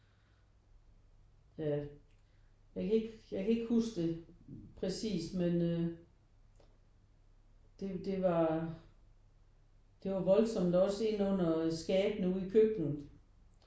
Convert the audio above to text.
Ja jeg kan ikke jeg kan ikke huske det præcist men øh det det var det var voldsomt og også inde under skabene ude i køkkenet